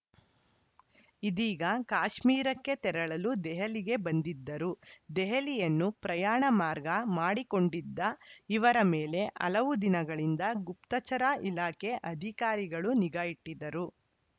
ಇದೀಗ ಕಾಶ್ಮೀರಕ್ಕೆ ತೆರಳಲು ದೆಹಲಿಗೆ ಬಂದಿದ್ದರು ದೆಹಲಿಯನ್ನು ಪ್ರಯಾಣ ಮಾರ್ಗ ಮಾಡಿಕೊಂಡಿದ್ದ ಇವರ ಮೇಲೆ ಹಲವು ದಿನಗಳಿಂದ ಗುಪ್ತಚರ ಇಲಾಖೆ ಅಧಿಕಾರಿಗಳು ನಿಗಾ ಇಟ್ಟಿದ್ದರು